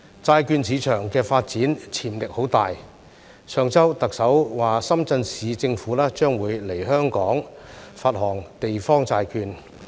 債券市場發展潛力很大，上周特首說深圳市政府將會來香港發行地方債券。